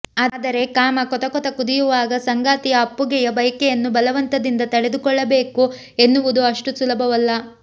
ಆದರೆ ಕಾಮ ಕೊತ ಕೊತ ಕುದಿಯುವಾಗ ಸಂಗಾತಿಯ ಅಪ್ಪುಗೆಯ ಬಯಕೆಯನ್ನು ಬಲವಂತದಿಂದ ತಡೆದುಕೊಳ್ಳಬೇಕು ಎನ್ನುವುದು ಅಷ್ಟು ಸುಲಭವಲ್ಲ